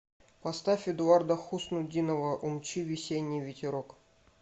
поставь эдуарда хуснутдинова умчи весенний ветерок